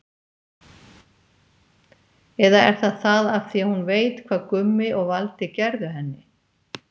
Eða er það af því að hún veit hvað Gummi og Valdi gerðu henni?